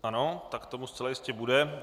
Ano, tak tomu zcela jistě bude.